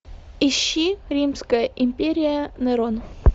ищи римская империя нерон